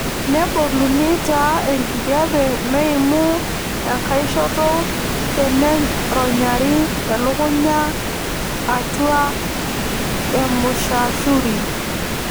Neboluni taa enkijape meimu enkaishoto teneronyari elukunya atwa emushashuri.